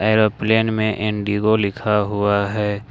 Aeroplane में IndiGo लिखा हुआ है।